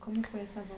Como foi essa